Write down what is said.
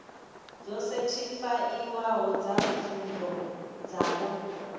dzo sethifaiwaho dza pfunzo dzavho